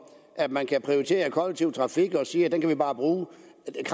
at man kan prioritere kollektiv trafik og sige at vi bare kan bruge